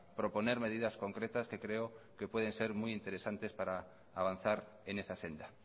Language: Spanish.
proponer medidas concretas que creo que pueden ser muy interesantes para avanzar en esa senda